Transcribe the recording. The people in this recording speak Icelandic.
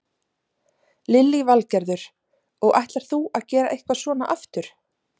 Lillý Valgerður: Og ætlar þú að gera eitthvað svona aftur?